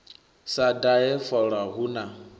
sa dahe fola hu na